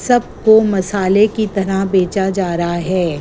सबको मसाले की तरह बेचा जा रआ है।